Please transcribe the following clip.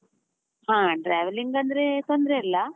ಹಾ, travelling ಅಂದ್ರೆ ತೊಂದ್ರೆ ಇಲ್ಲ.